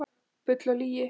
Bull og lygi